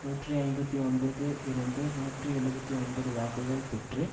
நூற்றி ஐம்பத்தி ஒன்பது இருந்து நூற்றி எழுபத்து ஒன்பது வாக்குகள் பெற்று